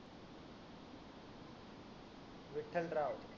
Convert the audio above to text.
Vitthal Rao